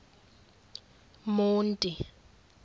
monti